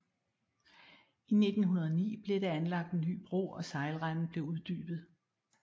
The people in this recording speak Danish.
I 1909 blev der anlagt en ny bro og sejlrenden blev uddybet